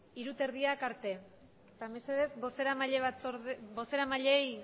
hamabosthogeita hamarak arte eta mesedez bozeramaileei